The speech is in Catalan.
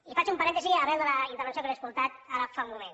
i faig un parèntesi arran de la intervenció que li he escoltat ara fa un moment